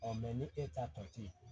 ni e ta tɔ te yen